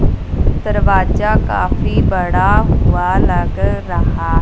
दरवाजा काफी बड़ा हुआ लग रहा--